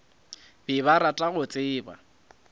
be ba rata go tseba